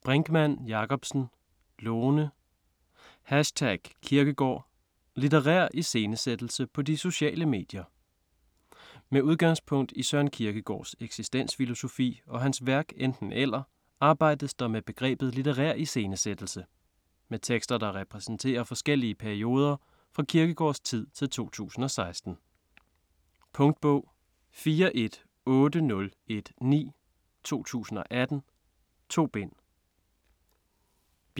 Brinkmann Jakobsen, Lone: #Kierkegaard: litterær iscenesættelse på de sociale medier Med udgangspunkt i Søren Kierkegaards eksistensfilosofi og hans værk Enten-eller arbejdes der med begrebet litterær iscenesættelse. Med tekster, der repræsenterer forskellige perioder fra Kierkegaardstid til 2016. Punktbog 418019 2018. 2 bind.